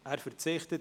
– Er verzichtet.